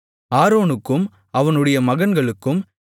ஆரோனுக்கும் அவனுடைய மகன்களுக்கும் மெல்லிய பஞ்சுநூலால் நெசவுவேலையான அங்கிகளையும்